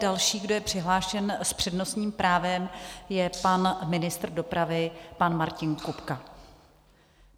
Další, kdo je přihlášen s přednostním právem, je pan ministr dopravy pan Martin Kupka.